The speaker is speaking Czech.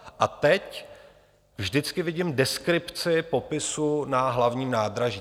A teď vždycky vidím deskripci popisu na Hlavním nádraží.